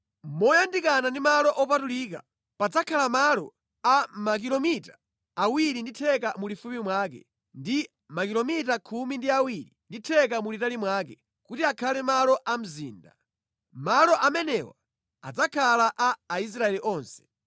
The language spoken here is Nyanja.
“ ‘Moyandikana ndi malo opatulika, padzakhale malo a makilomita awiri ndi theka mulifupi mwake ndi makilomita khumi ndi awiri ndi theka mulitali mwake; kuti akhale malo a mzinda. Malo amenewa adzakhala a Aisraeli onse.